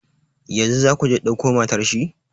Yanzu za ku je ku dauko matar shi?